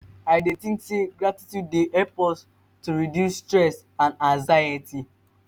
i dey think say gratitude dey help us to reduce stress and anxiety.